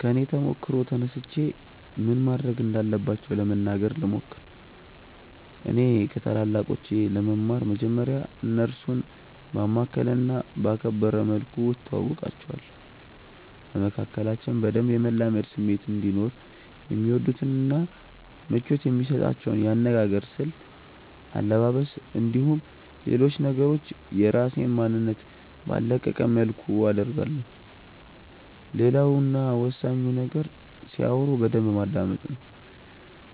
ከኔ ተሞክሮ ተነስቼ ምን ማድረግ እንዳለባቸው ለመናገር ልሞክር። እኔ ከታላላቆቼ ለመማር መጀመርያ እነርሱን ባማከለ እና ባከበረ መልኩ እተዋወቃቸዋለሁ። በመካከላችን በደንብ የመላመድ ስሜት እንዲኖርም የሚወዱትን እና ምቾት የሚሰጣቸውን የአነጋገር ስልት፣ አለባበስ፣ እንዲሁም ሌሎች ነገሮችን የራሴን ማንነት ባልለቀቀ መልኩ አደርጋለሁ። ሌላው እና ወሳኙ ነገር ሲያወሩ በደንብ ማዳመጥ ነው።